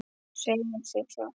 Segir sig sjálft.